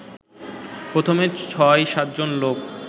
প্রথমে ছয়-সাতজন লোক